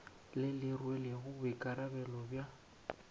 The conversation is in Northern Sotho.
le le rwelego boikarabelo bja